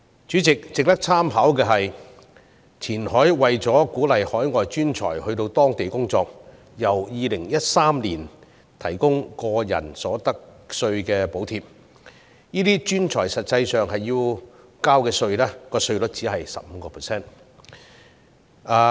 主席，值得參考的是，前海為鼓勵海外專才到當地工作，由2013年起提供個人所得稅補貼，這些專才實際要交的稅率因而只是 15%。